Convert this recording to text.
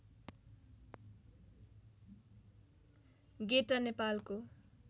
गेटा नेपालको